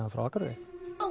frá Akureyri